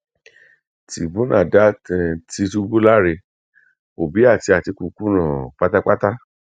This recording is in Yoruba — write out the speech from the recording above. tìbùnà dá um tìtùbù láre òbí àti àtìkù kùnà um pátápátá